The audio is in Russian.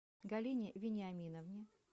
галине вениаминовне